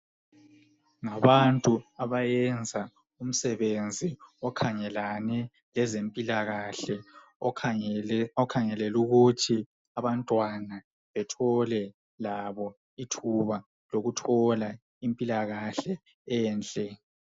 Kulabantu abayenza umsebenzi okhangelane lezempilakahle. Lowo msembenzi ukhangelane labantwana ukuthi bethole impilakahle enhle.